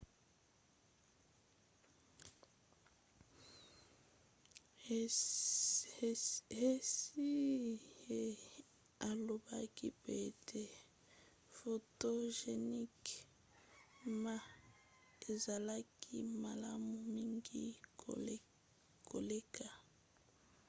hsieh alobaki pe ete photogenic ma ezalaki malamu mingi koleka